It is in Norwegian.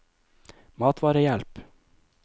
matvarehjelp